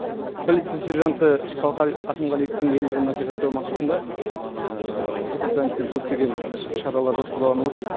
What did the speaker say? полиция сержанты шалқар ақымғалиевтің ерлігін насихаттау мақсатында департаментпен көптеген шаралар жоспарланып отыр